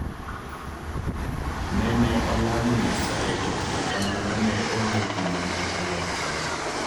Ne ne olamo nyasaye to kata kamano ne onge gima ne olokore